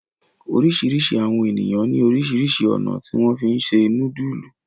oríṣiríṣi àwọn ènìyàn ní orísirísi ọ̀nà tí wón fí se nudulu.